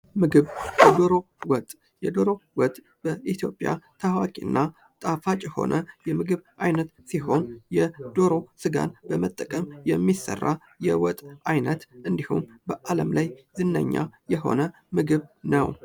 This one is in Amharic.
ምግብ:-ዶሮ ወጥ፦ የዶሮ ወጥ በኢትዮጵያ ታዋቂ እና ጣፋጭ የሆነ የምግብ አይነት ሲሆን የዶሮ ስጋን በመጠቀም የሚሰራ የምግብ አይነት እንድሁም በአለም ላይ ዝነኛ የሆነ ምግብ ነዎ።